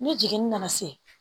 Ne jiginni nana se